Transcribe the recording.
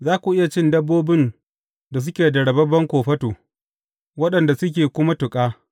Za ku iya cin dabbobin da suke da rababben kofato, waɗanda suke kuma tuƙa.